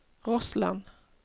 Rossland